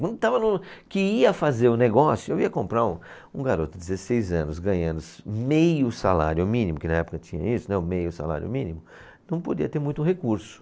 Quando estava no, que ia fazer o negócio, eu ia comprar um, um garoto de dezesseis anos, ganhando meio salário mínimo, que na época tinha isso, né, o meio salário mínimo, não podia ter muito recurso.